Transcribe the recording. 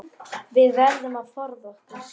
Við verðum að forða okkur.